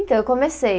Então, eu comecei.